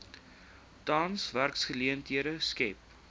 tans werksgeleenthede skep